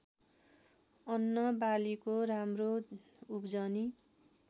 अन्नबालीको राम्रो उब्जनी